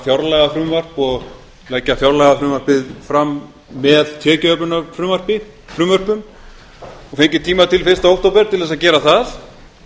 fjárlagafrumvarp og leggja fjárlagafrumvarpið fram með tekjuöflunarfrumvörpum og fengi tíma til fyrsta október til þess að gera það